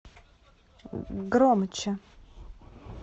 громче